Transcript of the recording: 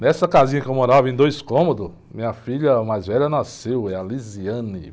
Nessa casinha que eu morava em dois cômodos, minha filha mais velha nasceu, é a.